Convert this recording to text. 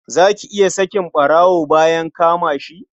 Za ka iya sakin ɓarawo bayan ka kama shi?